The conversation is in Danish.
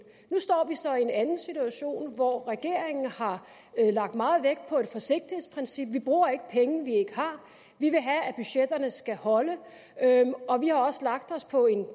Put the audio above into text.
nu står vi så i en anden situation hvor regeringen har lagt meget vægt på et forsigtighedsprincip vi bruger ikke penge vi ikke har vi vil have at budgetterne skal holde og vi har også lagt os på en